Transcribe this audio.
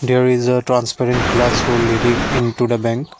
there is a transparent glass to let in into the bank.